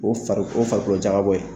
O farikolo o farikoloko jabɔ ye.